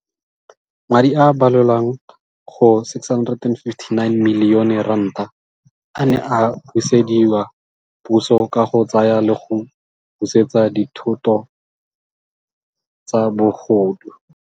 Madi a a balelwang go R659 milione a ne a busediwa puso ka go tsaya le go busetsa dithoto tsa bogodu.